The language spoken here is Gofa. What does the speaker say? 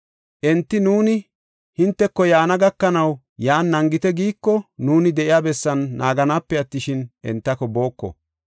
Enti, ‘Nuuni hinteko yaana gakanaw yan naagite’ giiko, nuuni de7iya bessan naaganaape attishin, entako booko.